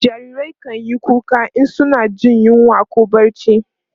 jarirai kanyi kuka in suna Jin yunwa koh barci